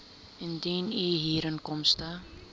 indien u huurinkomste